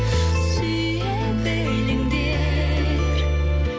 сүйе біліңдер